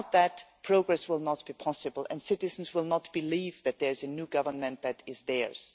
Without that, progress will not be possible and citizens will not believe that there is a new government that is theirs.